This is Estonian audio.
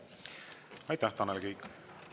Aitäh, Tanel Kiik!